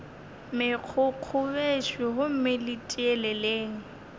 megokgo bešo gomme le tieleleng